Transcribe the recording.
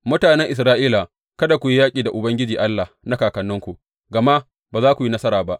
Mutanen Isra’ila, kada ku yi yaƙi da Ubangiji Allah na kakanninku, gama ba za ku yi nasara ba.